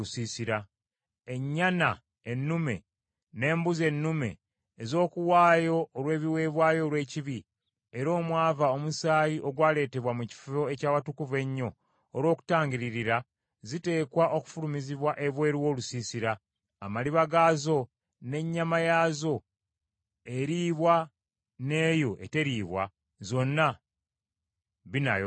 Ennyana ennume n’embuzi ennume ez’okuwaayo olw’ebiweebwayo olw’ekibi, era omwava omusaayi ogwaleetebwa mu Kifo eky’Awatukuvu Ennyo olw’okutangiririra, ziteekwa okufulumizibwa ebweru w’olusiisira, amaliba gaazo n’ennyama yaazo eriibwa n’eyo eteriibwa, zonna binaayokebwanga.